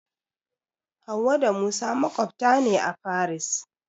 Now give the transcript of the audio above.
Hauwa da Musa maƙwabta ne a Faris.